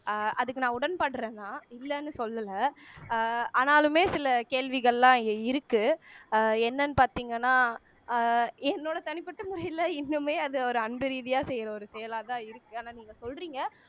அஹ் அதுக்கு நான் உடன்படுறேன் தான் இல்லைன்னு சொல்லல அஹ் ஆனாலுமே சில கேள்விகள்லாம் இங்க இருக்கு அஹ் என்னன்னு பாத்தீங்கன்னா அஹ் என்னோட தனிபட்ட முறையில இன்னுமே அது ஒரு அன்பு ரீதியா செய்யற ஒரு செயலாதான் இருக்கு ஆனா நீங்க சொல்றீங்க